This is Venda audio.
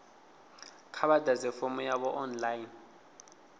kha vha ḓadze fomo yavho online